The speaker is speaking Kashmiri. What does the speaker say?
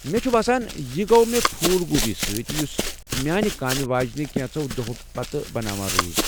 مےٚ چُھ باسان یہِ گوٚو مےٚ پھول گوبی سۭتۍ یُس میٛانہِ کامِہ واجیٚنہِ كینژو دوہو پتہٕ بناوان روز۔